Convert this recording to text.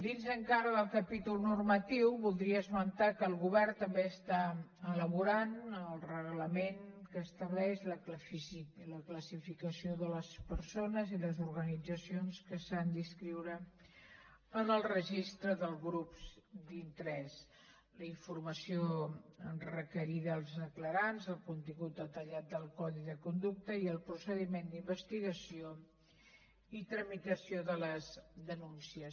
dins encara del capítol normatiu voldria esmentar que el govern també està elaborant el reglament que estableix la classificació de les persones i les organitzacions que s’han d’inscriure en el registre de grups d’interès la informació requerida als declarants el contingut detallat del codi de conducta i el procediment d’investigació i tramitació de les denúncies